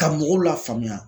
Ka mɔgɔw la faamuya